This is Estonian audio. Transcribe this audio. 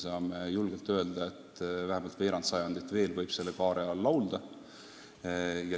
Saame julgelt öelda, et vähemalt veerand sajandit veel võib selle kaare all laulda.